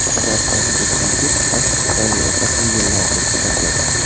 Samarqandlik yigit rashk tufayli opa-singillarni pichoqladi .